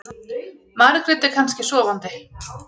Margrét er kannski sofandi.